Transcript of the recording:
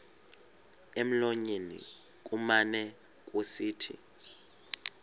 emlonyeni kumane kusithi